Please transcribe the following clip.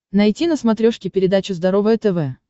найти на смотрешке передачу здоровое тв